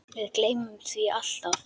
Við gleymum því alltaf